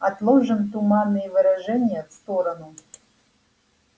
отложим туманные выражения в сторону